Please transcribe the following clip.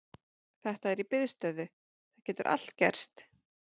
Þetta er í biðstöðu, það getur allt gerst.